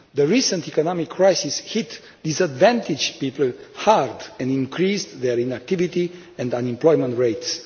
The recent economic crisis hit disadvantaged people hard and increased their inactivity and unemployment rates.